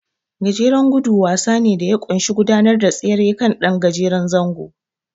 Gajeren gudu wasa ne da ya ƙunshi gudanar da tseren kan ɗan gajeren zango.